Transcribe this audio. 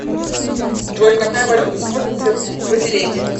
джой какая валюта используется в свазиленде